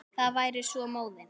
Það væri svo móðins.